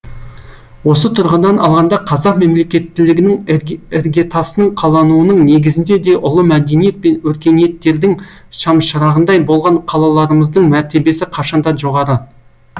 осы тұрғыдан алғанда қазақ мемлекеттілігінің іргетасының қалануының негізінде де ұлы мәдениет пен өркениеттердің шамшырағындай болған қалаларымыздың мәртебесі қашанда жоғары